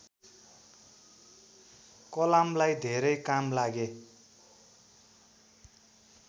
कलामलाई धेरै काम लागे